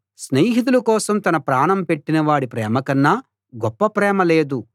స్నేహితుల కోసం తన ప్రాణం పెట్టిన వాడి ప్రేమకన్నా గొప్ప ప్రేమ లేదు